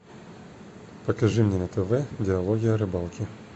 покажи мне на тв диалоги о рыбалке